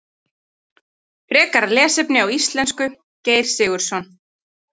Frekara lesefni á íslensku Geir Sigurðsson.